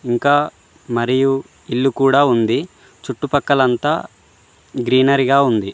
ఇంకా మరియు ఇల్లు కూడా ఉంది చుట్టుపక్కలంతా గ్రీనరిగా ఉంది.